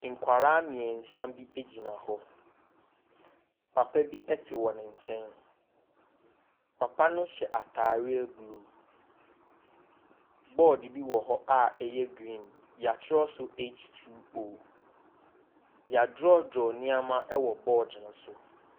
Nkɔla mmiɛnsa bi egyina hɔ. Papa bi ɛte wɔn nkyɛn. Papa no hyɛ ataareɛ blu. Bɔd bi wɔhɔ a ɛyɛ griin, y'atwerɛ so H2O. Yadrɔdrɔ nneɛma ɛwɔ bɔd ne so.